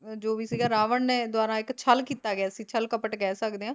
ਜੋ ਵੀ ਸੀਗਾ ਰਾਵਣ ਨੇ ਦੁਆਰਾ ਛਲ ਕੀਤਾ ਗਿਆ ਸੀ ਛਲਕਪਟ ਕਹਿ ਸਕਦੇ ਆ